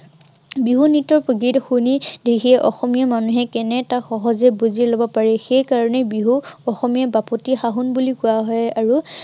বিহু নৃত্য়, গীত শুনি, দেখি অসমীয়া মানুহে কেনে তাক সহজেই বুজি লব পাৰি। সেই কাৰনেই বিহু অসমীয়াৰ বাপুতি সহোন বুলি কোৱা হয়। আৰু